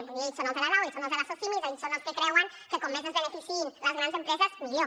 vull dir ells són els de la lau ells són els de la socimi és a dir són els que creuen que com més es beneficiïn les grans empreses millor